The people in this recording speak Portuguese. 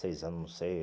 Seis anos, não sei.